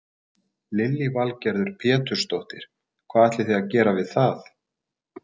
Lillý Valgerður Pétursdóttir: Hvað ætlið þið að gera við það?